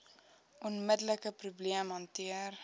onmiddelike probleem hanteer